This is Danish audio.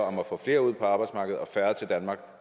om at få flere ud på arbejdsmarkedet og færre til danmark